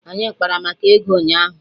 Anyị kpara maka ego ụnyaahụ